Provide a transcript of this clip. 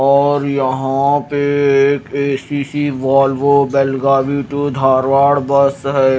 और यहां पे एक A C C Volvo Belgadi to Dharwad bus है।